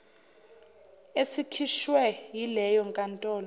esikhishwe yileyo nkantolo